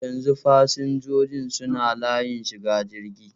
Yanzu fasinjojin suna layin shiga jirgi.